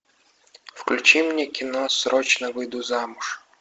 включи мне кино срочно выйду замуж